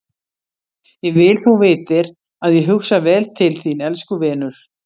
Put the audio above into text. Ég vil þú vitir að ég hugsa vel til þín- elsku vinur.